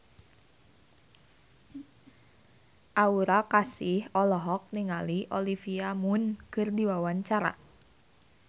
Aura Kasih olohok ningali Olivia Munn keur diwawancara